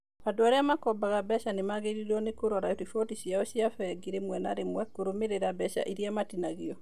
Andũ arĩa makombaga mbeca nĩ magĩrĩirũo nĩ kũrora riboti ciao cĩa bengi rĩmwe na rĩmwe kũrũmĩrĩra mbeca iria matinagio.